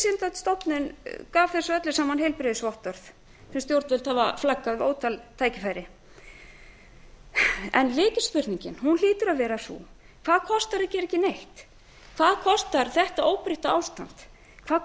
raunvísindastofnun gaf þessu öllu saman heilbrigðisvottorð sem stjórnvöld hafa flaggað við ótal tækifæri lykilspurningin hlýtur að vera hvað kostar að gera ekki neitt hvað kostar þetta óbreytta ástand hvað